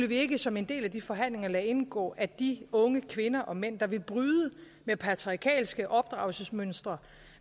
vi ikke som en del af de forhandlinger skulle lade indgå at de unge kvinder og mænd der vil bryde med patriarkalske opdragelsesmønstre